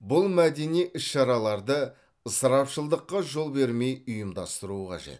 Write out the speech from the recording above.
бұл мәдени іс шараларды ысырапшылдыққа жол бермей ұйымдастыру қажет